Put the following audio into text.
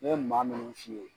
Ne ye maa ninnu f'i ye.